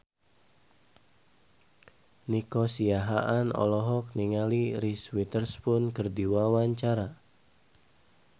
Nico Siahaan olohok ningali Reese Witherspoon keur diwawancara